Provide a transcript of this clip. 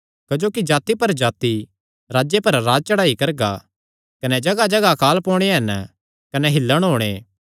क्जोकि जाति पर जाति राज्जे पर राज्ज चढ़ाई करगा कने जगाहजगाह पर अकाल पोणे हन कने हिल्लण हुंगे